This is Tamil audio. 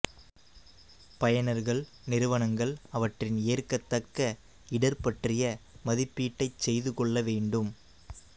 பயனர்கள்நிறுவனங்கள் அவற்றின் ஏற்கத்தக்க இடர் பற்றிய மதிப்பீட்டைச் செய்து கொள்ள வேண்டும்